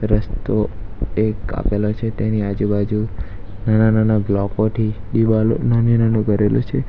રસ્તો એક આપેલો છે તેની આજુબાજુ નાના નાના બ્લોકો થી દીવાલો નાની નાનો કરેલુ છે.